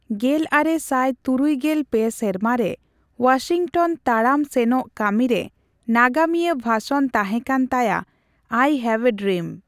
ᱜᱮᱞᱟᱨᱮ ᱥᱟᱭ ᱛᱩᱨᱩᱜᱮᱞ ᱯᱮ ᱥᱮᱨᱢᱟ ᱨᱮ ᱚᱣᱟᱥᱤᱝᱴᱚᱱ ᱛᱟᱲᱟᱢ ᱥᱮᱱᱚᱜ ᱠᱟᱹᱢᱤ ᱨᱮ ᱱᱟᱜᱟᱢᱤᱭᱟᱹ ᱵᱷᱟᱥᱚᱱ ᱛᱟᱦᱮᱠᱟᱱ ᱛᱟᱭᱟ ᱟᱭ ᱦᱮᱵᱽ ᱮ ᱰᱨᱤᱢ᱾